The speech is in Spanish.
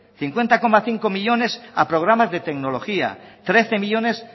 cincuenta coma cinco millónes a programas de tecnología trece millónes